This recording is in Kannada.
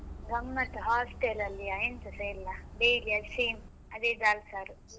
ಗಮ್ಮತ್ hostel ಅಲ್ಲಿಯ ಎಂತಸ ಇಲ್ಲ daily same ಅದೇ दाल ಸಾರು.